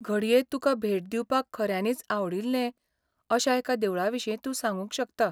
घडये तुकां भेट दिवपाक खऱ्यांनीच आवडिल्लें अशा एका देवळाविशीं तूं सांगूंक शकता.